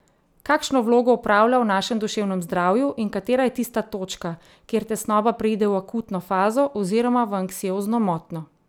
Kakšno vlogo opravlja v našem duševnem zdravju in katera je tista točka, kjer tesnoba preide v akutno fazo oziroma v anksiozno motnjo?